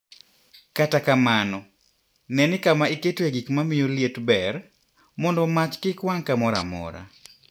Kata kamano, ne ni kama iketoe gik ma miyo liet ber, mondo mach kik wang' kamoro amora.